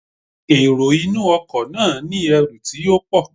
The passenger has a lot of luggages